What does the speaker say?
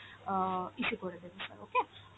অ্যাঁ issue করে দেবো sir okay ।